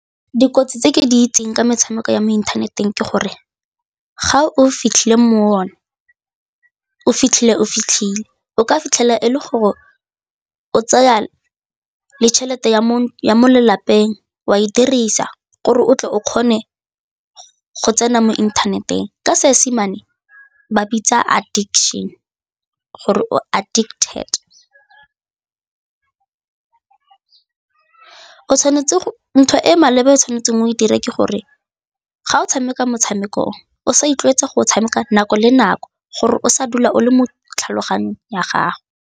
Dikotsi tse ke di itseng ke metshameko ya mo inthaneteng ke gore ga o fitlhile mo one, o fitlhile o fitlhile, o ka fitlhela e le gore o tsaya le tšhelete ya mo ya mo lelapeng wa e dirisa gore o tle o kgone go tsena mo inthaneteng ka Seesimane ba bitsa addiction gore o addicted, ntho e maleba o tshwanetseng o e dire ke gore ga o tshameka motshameko o o sa itlwaetsa go o tshameka nako le nako gore o sa dula o le mo tlhaloganyong ya gago.